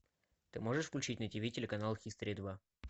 ты можешь включить на тиви телеканал хистори два